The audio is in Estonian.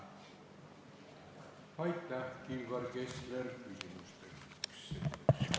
Aitäh, Kilvar Kessler!